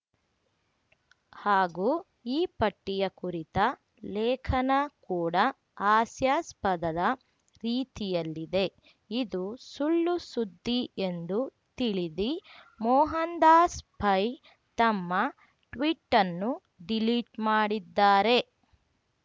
ಹಾಗೂ ಈ ಪಟ್ಟಿಯ ಕುರಿತ ಲೇಖನ ಕೂಡ ಹಾಸ್ಯಾಸ್ಪದದ ರೀತಿಯಲ್ಲಿದೆ ಇದು ಸುಳ್ಳು ಸುದ್ದಿ ಎಂದು ತಿಳಿದಿ ಮೋಹನ್‌ದಾಸ್‌ ಪೈ ತಮ್ಮ ಟ್ವೀಟನ್ನು ಡಿಲೀಟ್‌ ಮಾಡಿದ್ದಾರೆ